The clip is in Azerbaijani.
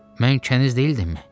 Mən kəniz deyildimmi?